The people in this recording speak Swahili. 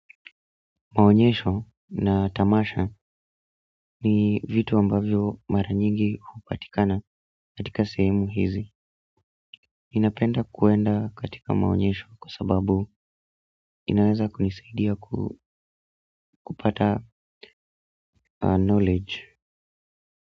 Maonyesho na tamasha ni vitu ambavyo mara nyingi hupatikana katika sehemu hizi ninapenda kuenda katika maonyesho kwa sababu inaweza kunisaidia kupata knowledge.